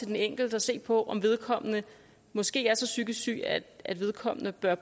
den enkelte og se på om vedkommende måske er så psykisk syg at at vedkommende bør